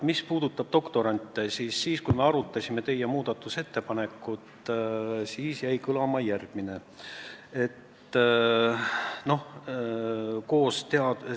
Mis puudutab doktorante, siis teie muudatusettepanekut arutades jäi kõlama järgmine info.